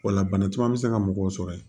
O la bana caman bɛ se ka mɔgɔw sɔrɔ yen